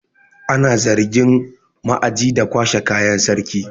Ana zargin ma'aji da kwashe kayan sarki.